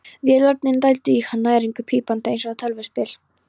Vélarnar dældu í hann næringu, pípandi eins og tölvuspil.